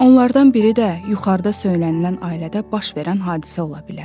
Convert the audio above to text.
Onlardan biri də yuxarıda söylənilən ailədə baş verən hadisə ola bilər.